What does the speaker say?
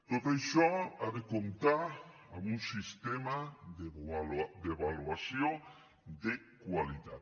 tot això ha de comptar amb un sistema d’avaluació de qualitat